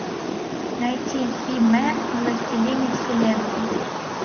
найти хи мен и властелины вселенной